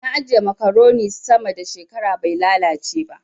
Na ajiye makaroni sama da shekara bai lalace ba.